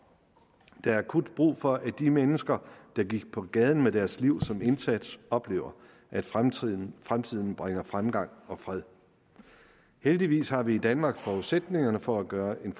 der er akut brug for at de mennesker der gik på gaden med deres liv som indsats oplever at fremtiden fremtiden bringer fremgang og fred heldigvis har vi i danmark forudsætningerne for at gøre en